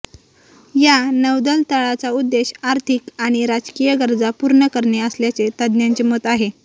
या नौदल तळाचा उद्देश आर्थिक आणि राजकीय गरजा पूर्ण करणे असल्याचे तज्ञांचे मत आहे